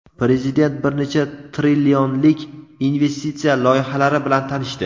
Prezident bir necha trillionlik investitsiya loyihalari bilan tanishdi.